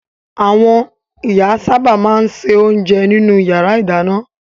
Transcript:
Àwọn ìyá sábà máa ń se oúnjẹ nínú ìyàrá-ìdáná.